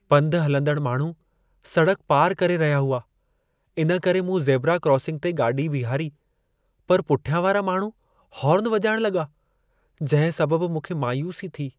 पंधु हलंदड़ माण्हू सड़क पार करे रहिया हुआ, इन करे मूं ज़ेबरा क्रॉसिंग ते गाॾी बीहारी पर पुठियां वारा माण्हू हॉर्न वॼाइणु लॻा जंहिं सबबु मूंखे मायूसी थी।